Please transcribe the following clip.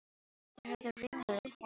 Þeir horfðu ringlaðir hvor á annan.